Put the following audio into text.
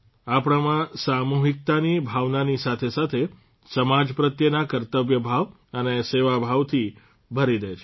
આપણામાં સામૂહિકતાની ભાવનાની સાથેસાથે સમાજ પ્રત્યેના કર્તવ્ય ભાવ અને સેવાભાવથી ભરી દે છે